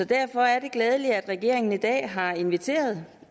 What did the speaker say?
derfor er det glædeligt at regeringen i dag har inviteret